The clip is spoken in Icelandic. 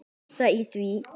Gramsa í því.